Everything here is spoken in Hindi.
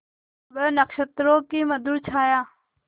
वह नक्षत्रों की मधुर छाया